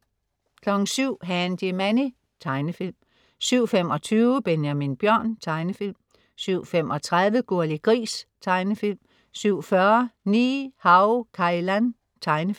07.00 Handy Manny. Tegnefilm 07.25 Benjamin Bjørn. Tegnefilm 07.35 Gurli Gris. Tegnefilm 07.40 Ni-Hao Kai Lan. Tegnefilm